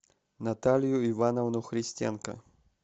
наталью ивановну христенко